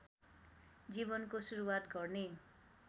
जीवनको सुरुवात गर्ने